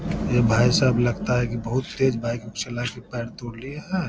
ये भाईसाहब लगता है की बोहोत तेज बाइक चलाके पैर तोड़ लिया है।